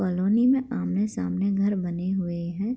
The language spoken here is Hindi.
कॉलोनी में आमने-सामने घर बने हुए हैं।